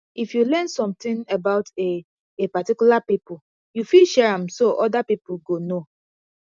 if you learn something about a a particular pipo you fit share am so oda pipo go know